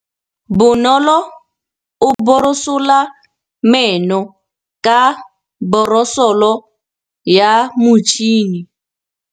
Bonolô o borosola meno ka borosolo ya motšhine.